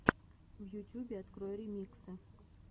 в ютюбе открой ремиксы